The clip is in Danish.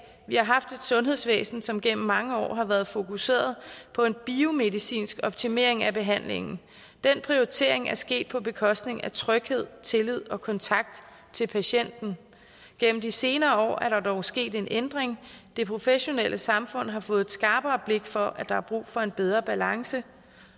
har haft et sundhedsvæsen som gennem mange år har været fokuseret på en biomedicinsk optimering af behandlingen den prioritering er sket på bekostning af tryghed tillid og kontakt til patienten gennem de senere år er der dog sket en ændring det professionelle samfund har fået et skarpere blik for at der er brug for en bedre balance